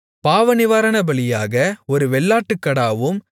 பாவநிவாரணபலியாக ஒரு வெள்ளாட்டுக்கடாவும்